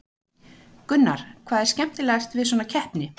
Gunnar: Hvað er skemmtilegast við svona keppni?